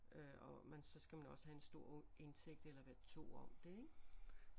Øh og man så skal man også have en stor indtægt eller være 2 om det ik